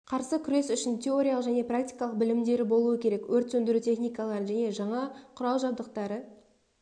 қарсы күрес үшін теориялық және практикалық білімдері болу керек өрт сөндіру техникаларын және жаңа құрал-жабдықтары